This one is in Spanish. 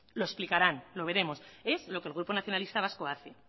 lo explicarán lo veremos es lo que el grupo nacionalista vasco hace